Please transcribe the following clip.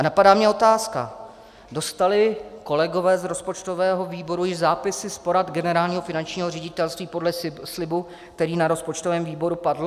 A napadá mě otázka - dostali kolegové z rozpočtového výboru již zápisy z porad Generálního finančního ředitelství podle slibu, který na rozpočtovém výboru padl?